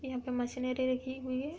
इहां पे मशीनें रेखी हुई है।